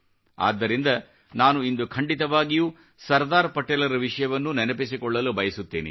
ಆದ್ದರಿಂದ ನಾನು ಇಂದು ಖಂಡಿತವಾಗಿಯೂ ಸರ್ದಾರ್ ಪಟೇಲರ ವಿಷಯವನ್ನು ನೆನಪಿಸಿಕೊಳ್ಳಲು ಬಯಸುತ್ತೇನೆ